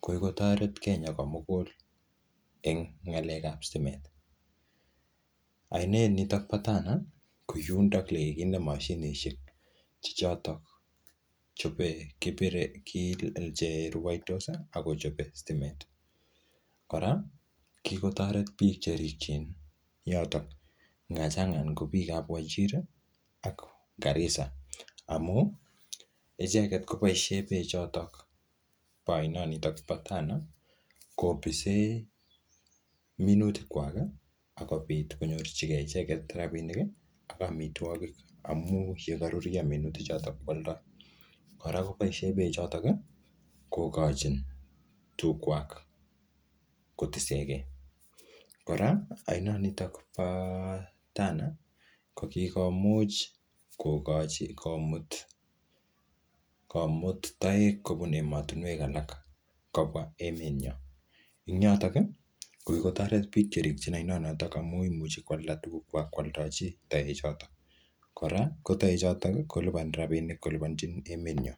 ko kikotoret Kenya ko mugul eng ng'alek ap stimet. Ainet nitok po Tana, ko yundok le kikinde mashinishek che chotok chope kipire che rwaitos, ako che pire stimet. Kora, kikotoret biik che rikchin yotok. Nga chang ko biik ap Wajir, ak Garissa. Amu, icheket koboisie beek chotok bo aino nitok po Tana, kopise minutik kwak, akobit konyorchikei icheket rabinik, ak amitwogik. Amu yekaruruio minutik chotok kwaldoi. Kora kobise beek chotok, kokochi tug kwak kotisekei. Kora, ainot nitok bo Tana, ko kikomuch kokochi komut-komut taek kobun emotunwek alak kobwaa emet nyoo. Ing yotok, ko kikotoret biik che ripchin ainot notok amu imuchi kwalda tuguk kwak koaldochi taek chotok. Kora, ko taek chotok, kolipani rabinik, kolipanchin emet nyo.